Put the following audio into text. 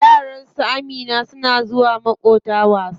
Yaran Amina na zuwa maƙota wasa.